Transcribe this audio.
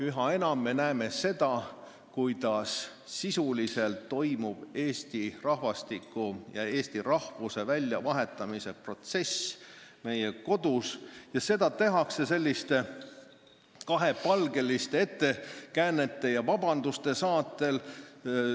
Üha enam me näeme seda, kuidas sisuliselt toimub meie kodus Eesti rahvastiku ja eesti rahvuse väljavahetamise protsess ning seda tehakse kahepalgeliste ettekäänete ja vabanduste saatel.